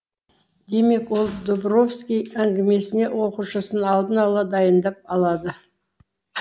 демек ол дубровский әңгімесіне оқушысын алдын ала дайындап алады